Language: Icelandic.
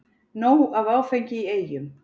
Nóg af áfengi í Eyjum